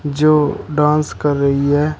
जो डांस कर रही है।